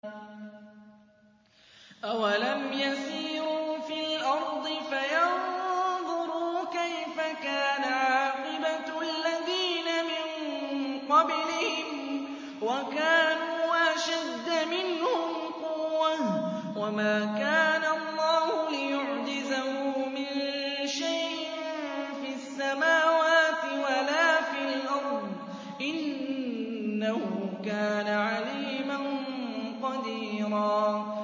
أَوَلَمْ يَسِيرُوا فِي الْأَرْضِ فَيَنظُرُوا كَيْفَ كَانَ عَاقِبَةُ الَّذِينَ مِن قَبْلِهِمْ وَكَانُوا أَشَدَّ مِنْهُمْ قُوَّةً ۚ وَمَا كَانَ اللَّهُ لِيُعْجِزَهُ مِن شَيْءٍ فِي السَّمَاوَاتِ وَلَا فِي الْأَرْضِ ۚ إِنَّهُ كَانَ عَلِيمًا قَدِيرًا